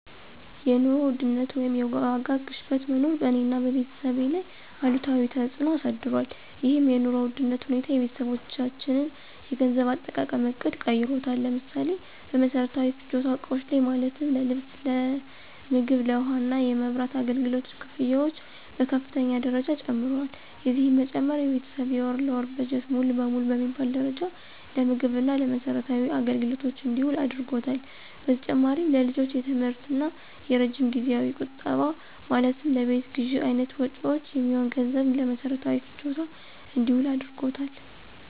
የኑሮ ውድነት ወይም የዋጋ ግሽበት መኖር በእኔ እና በቤተሰቤ ላይ አሉታዊ ተፅዕኖ አሳድሯል። ይህም የኑሮ ውድነት ሁኔታ የቤተሰባችንን የገንዘብ አጠቃቀም ዕቅድ ቀይሮታል። ለምሳሌ፦ በመሰረታዊ ፍጆታ እቃዎች ላይ ማለትም ለምግብ፣ ለልብስ፣ ለውሃ እና የመብራት አገልግሎት ክፍያዎች በከፍተኛ ደረጃ ጨምረዋል። የዚህም መጨመር የቤተሰብ የወር ለወር በጀት ሙሉ ለሙሉ በሚባል ደረጃ ለምግብ እና ለመሰረታዊ አገልግሎቶች እንዲውል አድርጓታል። በተጨማሪም ለልጆች የትምህርት እና የረጅም ጊዜያዊ ቁጠባ ማለትም ለቤት ግዥ አይነት መጭወች የሚሆን ገንዘብም ለመሰረታዊ ፍጆታ እንዲውል አድርጎታል።